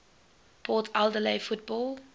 port adelaide football